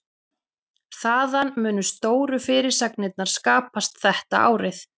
Þaðan munu stóru fyrirsagnirnar skapast þetta árið.